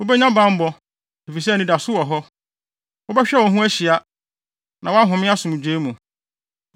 Wubenya bammɔ, efisɛ anidaso wɔ hɔ; wobɛhwɛ wo ho ahyia, na wahome asomdwoe mu.